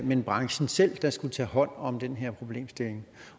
men branchen selv der skulle tage hånd om den her problemstilling